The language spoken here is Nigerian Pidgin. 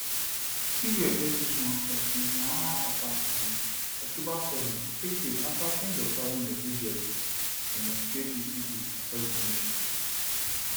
israel first nationwide strike since di hamas attacks on october 7 take place afta ten s of thousands of israelis demonstrate in cities across di nation